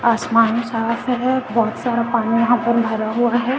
आसमान साफ है बहोत सारा पानी यहां पर भरा हुआ है।